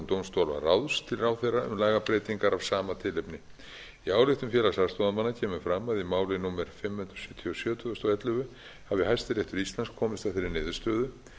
dómstólaráðs til ráðherra um lagabreytingar af sama tilefni í ályktun félags aðstoðarmanna kemur fram að í máli númer fimm hundruð sjötíu og sjö tvö þúsund og ellefu hafi hæstiréttur íslands komist að þeirri niðurstöðu